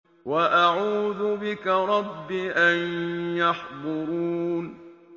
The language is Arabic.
وَأَعُوذُ بِكَ رَبِّ أَن يَحْضُرُونِ